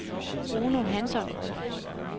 Bruno Hansson